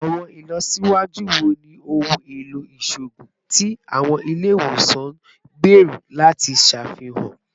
Awọn ilọsiwaju wo ni ohun elo iṣoogun ti awọn ile-iwosan n gbero lati ṣafihan?